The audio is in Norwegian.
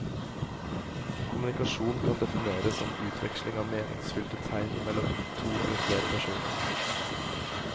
Kommunikasjon kan defineres som utveksling av meningsfylte tegn mellom to eller flere personer.